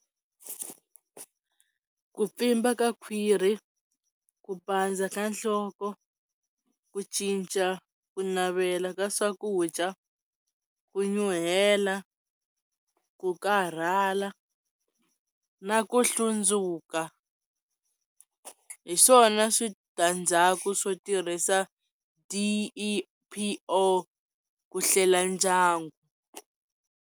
Ku pfimba ka khwiri, ku pandza ka nhloko, ku cinca, ku navela ka swakudya, ku nyuhela, ku karhala na ku hlundzuka hi swona switandzhaku swo tirhisa D_E_P_O ku hlela ndyangu